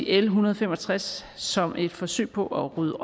l en hundrede og fem og tres som et forsøg på at rydde